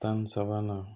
Tan ni sabanan